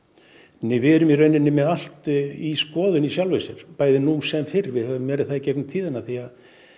nei við erum í rauninni með allt í skoðun í sjálfu sér bæði nú sem fyrr við höfum verið það í gegnum tíðina því að